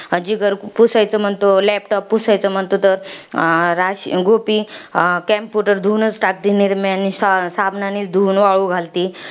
जिगर पुसायचं म्हणतो, laptop पुसायचं म्हणतो. तर राश गोपी, computer धुवूनच टाकते, निर्म्यानी. सा साबणानी धून वाळू घालती.